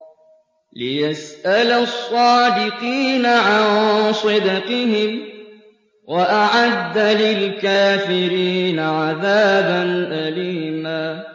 لِّيَسْأَلَ الصَّادِقِينَ عَن صِدْقِهِمْ ۚ وَأَعَدَّ لِلْكَافِرِينَ عَذَابًا أَلِيمًا